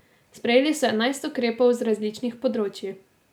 Sprejeli so enajst ukrepov z različnih področij.